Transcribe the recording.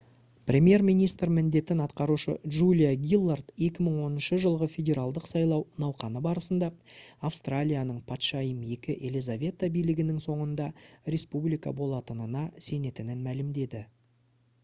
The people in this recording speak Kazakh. премьер министр міндетін атқарушы джулия гиллард 2010 жылғы федералдық сайлау науқаны барысында австралияның патшайым ii елизавета билігінің соңында республика болатынына сенетінін мәлімдеді